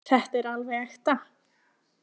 Þetta er alveg ekta.